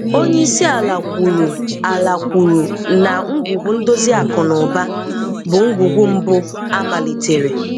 Onye isi ala kwùrù ala kwùrù na ngwùgwu ndòzi akụ́ na ụ́ba bụ ngwùgwu mbu à malitere.